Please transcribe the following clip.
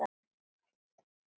segir hún með þjósti.